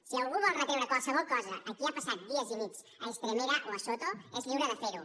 si algú vol retreure qualsevol cosa a qui ha passat dies i nits a estremera o a soto és lliure de fer ho